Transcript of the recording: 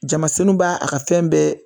Jamasinin b'a a ka fɛn bɛɛ